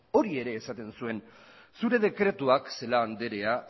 hori ere esaten zuen zure dekretuak celaá andrea